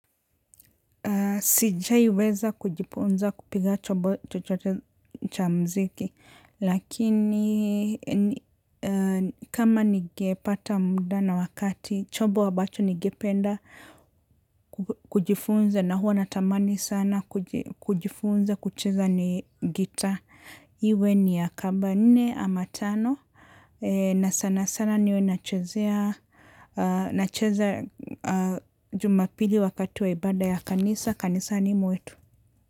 Sijawahi weza kujifunza kupiga chobo cha mziki, lakini kama nigepata muda na wakati, chobo abacho nigependa kujifunza na huwa natamani sana kujifunza kucheza ni gita. Iwe ni ya kabane ama tano. Na sana sana niwe na chezea. Na chezea jumapili wakati waibada ya kanisa. Kanisa ni mwetu.